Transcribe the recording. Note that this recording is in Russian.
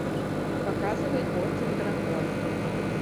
показывай орден дракона